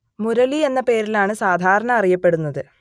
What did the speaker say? മുരളി എന്ന പേരിലാണ് സാധാരണ അറിയപ്പെടുന്നത്